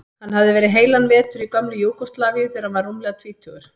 Hann hafði verið heilan vetur í gömlu Júgóslavíu þegar hann var rúmlega tvítugur.